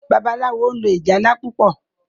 Babalawo lò ìjálá púpọ.